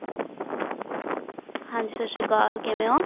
ਹਾਂਜੀ ਸਤਿ ਸ਼੍ਰੀ ਅਕਾਲ ਕਿਵੇਂ ਹੋ